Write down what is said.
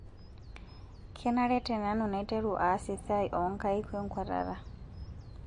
Kenare tenanu naiteru aas esiai oonkaik wenkuatata?